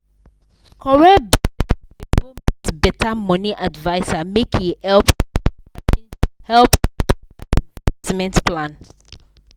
correct business babe go meet better money adviser make e help rearrange help rearrange her investment plan.